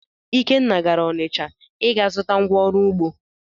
Ikenna gara Ọnịcha ịga zụta ngwa oru ugbo.